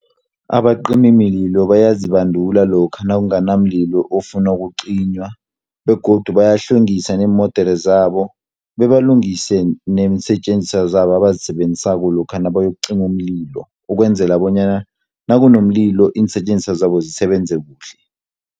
Abacimimililo bayazibandula lokha nakungana mlilo ofuna ukucinywa, begodu bayahlwengisa neemodere zabo, bebalungise neensetjenziswa zabo, abazisebenzisako, lokha nabayokucima umlilo, ukwenzela bonyana nakunomlilo iinsetjenziswa zabo zisebenze kuhle.